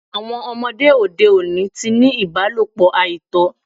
Àwọn ọmọdé òde oni ti ni ìbálọ̀pọ̀ àìtọ́